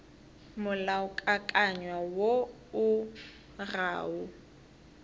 molaokakanywa woo o ga o